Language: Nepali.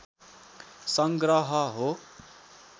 सङ्ग्रह हो